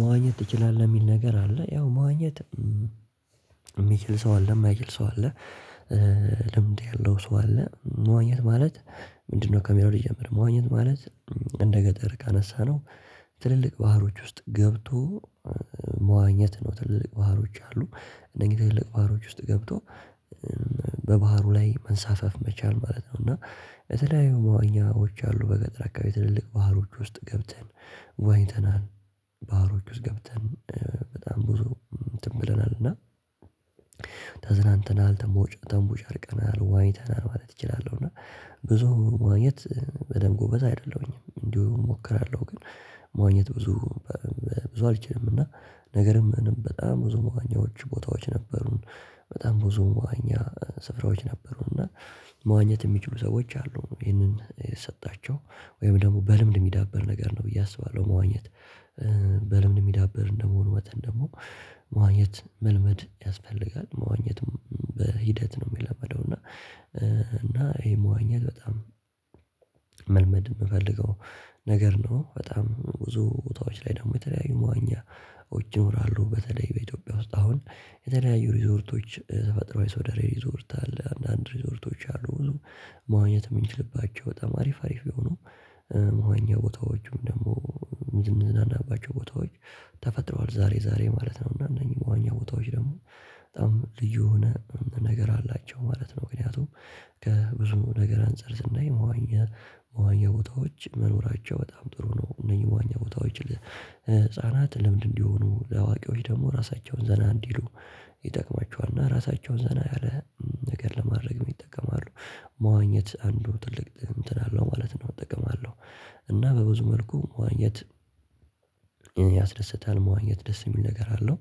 መዋኘት ትችላለህ? የሚል ነገር አለ ያው መዋኘት የሚችል ሰው አለ፤ የማይችል ሰው አለ፤ ልምድ ያለው ሰው አለ። መዋኘት ማለት ምንድነው ከሚለው ልጀም፥ መዋኘት ማለት እንደ ገጠር ካነሳነው ትልልቅ ባህሮች ውስጥ ገብቶ መዋኘት ነው። ትልልቅ ባህሮች አሉ እነዚህ ትልቅ ባህሮች ውስጥ ገብቶ በባህሩ ላይ መንሳፈፍ መቻል ማለት ነው እና የተለያዩ መዋኛዎች አሉ። በገጠር አካባቢ ትልልቅ ባህሮች ውስጥ ገብተን ዋኝተናል። ባህሮች ውስጥ ገብተን በጣም ብዙ እንትን ብለናል እና ተዝናንተናል ተንቦጫ ተንቦጫርቀናል፣ ዋኝተናል ማለት እችላለሁ እና ብዙ መዋኘት በደንብ ጎበዝ አይደለሁኝም። እንዲሁ እሞክራለሁ ግን መዋኘት ብዙ ብዙ አልችልም እና ነገርም በጣም ብዙ መዋኛዎች ቦታዎች ነበሩን። በጣም ብዙ መዋኛ ስፍራዎች ነበሩን እና መዋኘት የሚችሉ ሰዎች አሉ። ይህንን የሰጣቸው ወይም ደግሞ በልምድ የሚዳበር ነገር ነው ብዬ አስባለሁ መዋኘት። በልምድ የሚዳብር እንደመሆኑ መጠን ደግሞ መዋኘት መልመድ ያስፈልጋል። መዋኘትም በሂደት ነው የሚለመደው እና እና ይሄ መዋኘት በጣም መልመድ የምፈልገው ነገር ነው። በጣም ብዙ ቦታዎች ላይ ደግሞ የተለያዩ መዋኛዎች ይኖራሉ። በተለይ በኢትዮጵያ ውስጥ አሁን የተለያዩ ሪዞርቶች ተፈጥሮሯዊ ሶደሬ ሪዞርት አለ። አንዳንድ ሪዞርቶች አሉ ብዙ መዋኘት የምንችልባቸው በጣም አሪፍ አሪፍ የሆኑ መዋኛ ቦታዎችም ደግሞ ምንዝናናባቸው ቦታዎች ተፈጥረዋል ዛሬ ዛሬ ማለት ነው። እና እነኚህ መዋኛ ቦታዎች ደግሞ በጣም ልዩ የሆነ ነገር አላቸው ማለት ነው። ምክንያቱም ከብዙ ነገር አንፃር ስናይ መዋኛ መዋኛ ቦታዎች መኖራቸው በጣም ጥሩ ነው። እነዚህ መዋኛ ቦታዎች ለህፃናት ልምድ እንዲሆኑ፣ ለአዋቂዎች ደግሞ ራሳቸውን ዘና እንዲሉ ይጠቅማቸዋል። እና ራሳቸውን ዘና ያለ ነገር ለማድረግ ይጠቀማሉ። መዋኘት አንዱ ትልቅ እንትን አለው ማለት ነው ጥቅም አለው። እና በብዙ መልኩ መዋኘት ያስደስታል። መዋኘት ደስ የሚል ነገር አለው።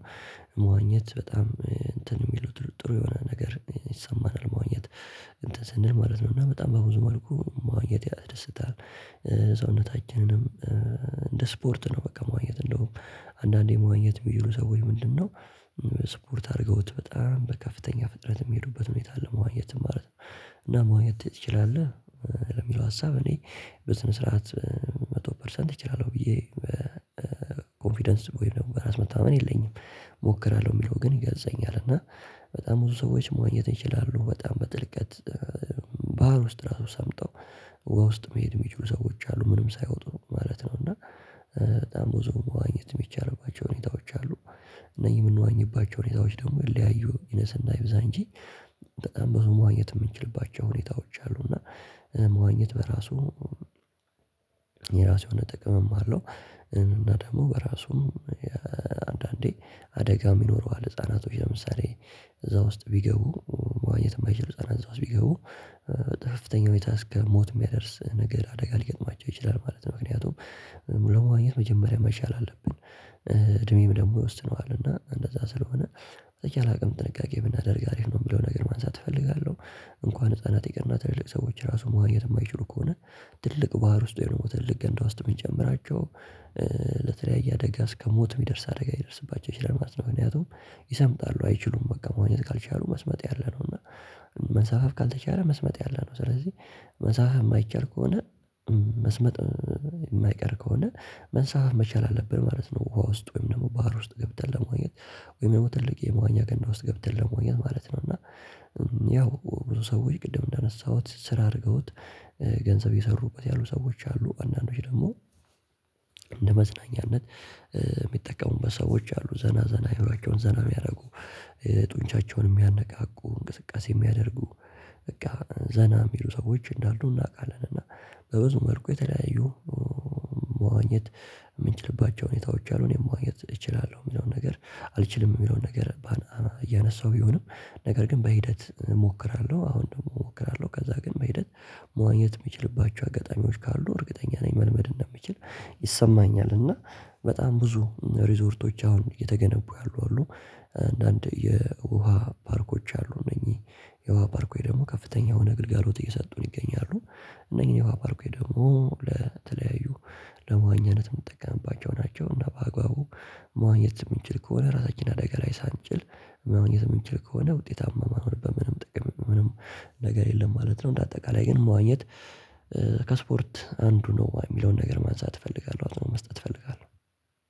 መዋኘት በጣም እንትን የሚሉ ጥሩ ጥሩ የሆነ ነገር ይሰማናል ምዋኘት እንትን ስንል ማለት ነው። እና በጣም በብዙ መልኩ መዋኘት ያደስታል ሰውነታችንንም እንደ ስፖርት ነው በቃ መዋኘት እንደውም አንዳንዴ መዋኘት የሚችሉ ሰዎች ምንድነው ስፖርት አድርገውት በጣም በከፍተኛ ፍጥነት የሚሄዱበት ሁኔታ ለመዋኘት ማለት ነው። እና መዋኘት ትችላለህ ለሚለው ሀሳብ እኔ በስነ ስርዓት መቶ ፐርሰንት እችላለሁ ብዬ ኮንፊደንስ ደግሞ ራስ መታመን የለኝም። እሞክራለሁ የሚለው ግን ይገልጸኛል። እና በጣም ብዙ ሰዎች መዋኘት ይችላሉ በጣም በጥልቀት ባህር ውስጥ ራሱ ሰምጠው ዉሃ ውስጥ መሄድ የሚችሉ ሰዎች አሉ ምንም ሳይወጡ ማለት ነው። እና በጣም ብዙ መዋኘት የሚቻልባቸው ሁኔታዎች አሉ። እነዚህ የምንዋኝባቸው ሁኔታዎች ደግሞ ይለያዩ ይነስና ይብዛ እንጂ በጣም ብዙ መዋኘት የምንችልባቸው ሁኔታዎች አሉ እና መዋኘት በራሱ የራሱ የሆነ ጥቅምም አለው። እና ደግሞ በራሱም አንዳንዴ አደጋ ይኖረዋል። ህፃናቶች ለምሳሌ እዛ ውስጥ ቢገቡ መዋኘት የማይችሉ ህፃናት እዛ ውስጥ ቢገቡ በከፍተኛ ሁኔታ እስከ ሞት የሚያደርስ ነገር አደጋ ሊገጥማቸው ይችላል ማለት ነው ምክንያቱም ለመዋኘት መጀመሪያ መቻል አለብን፤ እድሜም ደግሞ ይወስድነዋል። እና እንደዛ ስለሆነ በተቻለ አቅም ጥንቃቄ ብናደርግ አሪፍ ነው የሚለው ነገር ማንሳት እፈልጋለሁ። እንኳን ህፃናት ይቅርና ትልልቅ ሰዎች ራሱ መዋኘት የማይችሉ ከሆነ ትልቅ ባህር ውስጥ ወይም ደግሞ ትልልቅ ገንዳ ውስጥ ብንጨምራቸው ለተለያየ አደጋ እስከሞት የሚደርስ አደጋ ሊደርስባቸው ይችላል ማለት ነው። ምክንያቱም ይሰምጣሉ አይችሉም በቃ መዋኘት ካልቻሉ መስመጥ ያለነው እና ካልተቻለ መስመጥ ያለ ነው። ስለዚህ መንሳፋፍ የማይቻል ከሆነ መስመጥ የማይቀር ከሆነ መንሳፈፍ መቻል አለብን ማለት ነው። ውሃ ውስጥ ወይም ደግሞ ባህር ውስጥ ገብተን ለመዋኘት ወይም ደግሞ ትልቅ የመዋኛ ገንዳ ውስጥ ገብተን ለመዋኘት ማለት ነው እና ያው ብዙ ሰዎች ቅድም እንዳነሳሁት ስራ አድርገውት ገንዘብ የሰሩበት ያሉ ሰዎች አሉ። አንዳንዶች ደግሞ ለመዝናኛነት የሚጠቀሙበት ሰዎች አሉ ዘና ዘና አእምሯቸውን ዘና የሚያደርጉ ጡንቻቸው የሚያያነቃቁ እንቅስቃሴ የሚያደርጉ በቃ ዘና የሚሉ ሰዎች እንዳሉ እናውቃለን። እና በብዙ መልኩ የተለያዩ መዋኘት የምንችልባቸው ሁኔታዎች አሉ። እኔም መዋኘት እችላለሁ የሚለውን ነገር አልችልም የሚለውን ነገር እያነሳው ቢሆንም፤ ነገር ግን በሂደት እሞክራለሁ አሁን ደግሞ እሞክራለሁ ከዛ ግን በሂደት መዋኘት የምችልባቸው አጋጣሚዎች ካሉ እርግጠኛ ነኝ መልመድ እንደምችል ይሰማኛል። እና በጣም ብዙ ሪዞርቶች አሁን እየተገነቡ ያሉ አሉ አንዳንድ የውሃ ፓርኮች አሉ። እነኚህ የውሃ ፓርኮች ደግሞ ከፍተኛ የሆነ ግልጋሎት እየሰጡን ይገኛሉ እነኚህን የውሃ ፓርኮች ደግሞ ለተለያዩ ለመዋኛነት የምንጠቀምባቸው ናቸው እና በአግባቡ መዋኘት የምንችል ከሆነ ራሳችን አደጋ ላይ ሳንጥል ማዋኘት የምንችል ከሆነ ውጤታማ ማንሆንበት ምንም ጥቅም ምንም ነገር የለም ማለት ነው። እንደ አጠቃላይ ግን ማዋኘት ከስፖርት አንዱ ነው የሚለውን ነገር ማንሳት እፈልጋለሁ አጽኖት መስጠት እፈልጋለሁ።